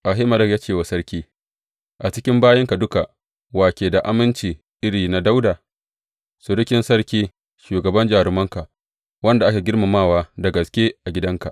Ahimelek ya ce wa sarki, A cikin bayinka duka, wa ke da aminci iri na Dawuda, surukin sarki, shugaban jarumanka wanda ake girmamawa da gaske a gidanka?